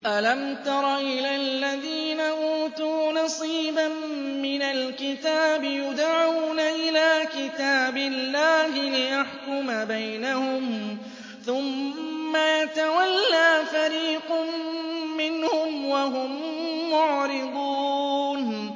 أَلَمْ تَرَ إِلَى الَّذِينَ أُوتُوا نَصِيبًا مِّنَ الْكِتَابِ يُدْعَوْنَ إِلَىٰ كِتَابِ اللَّهِ لِيَحْكُمَ بَيْنَهُمْ ثُمَّ يَتَوَلَّىٰ فَرِيقٌ مِّنْهُمْ وَهُم مُّعْرِضُونَ